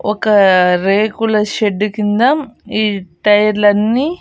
ఒక రేకుల షెడ్డు కింద ఈ టైర్లన్నీ .